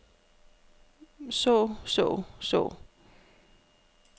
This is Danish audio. så så så